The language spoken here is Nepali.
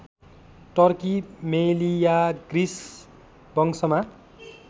टर्की मेलियाग्रिस वंशमा